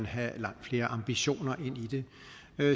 have langt flere ambitioner ind i det